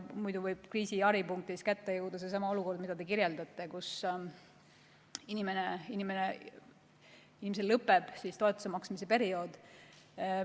Muidu võib kriisi haripunktis kätte jõuda seesama olukord, mida te kirjeldasite, et inimesel lõpeb just siis toetuse maksmise periood.